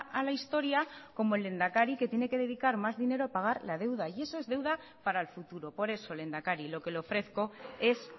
a la historia como el lehendakari que tiene que dedicar más dinero a pagar la deuda y eso es deuda para el futuro por eso lehendakari lo que le ofrezco es